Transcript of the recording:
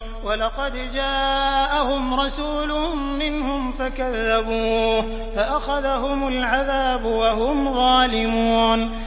وَلَقَدْ جَاءَهُمْ رَسُولٌ مِّنْهُمْ فَكَذَّبُوهُ فَأَخَذَهُمُ الْعَذَابُ وَهُمْ ظَالِمُونَ